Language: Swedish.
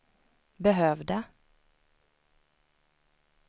behövde